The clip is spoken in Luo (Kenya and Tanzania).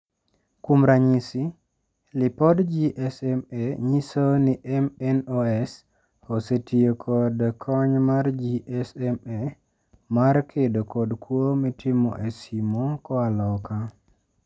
Kuom ranyisi, lipod GSMA nyiso ni MNOs osetio kod kony mar GSMA mar kedo kod kwo mitimo e simo koa loka.